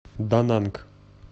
дананг